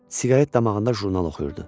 Siqaret damağında jurnal oxuyurdu.